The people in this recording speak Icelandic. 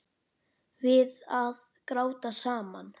Við að gráta saman.